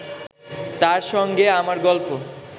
তার সঙ্গে আমার গল্প